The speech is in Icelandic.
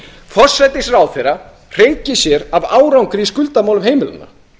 forsætisráðherra hreykir sér af árangri í skuldamálum heimilanna